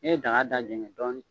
ye daga da jɛngɛ dɔɔnin.